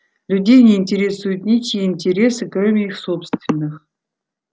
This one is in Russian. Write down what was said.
людей не интересуют ничьи интересы кроме их собственных